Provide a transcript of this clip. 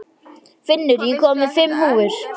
Finnur, ég kom með fimm húfur!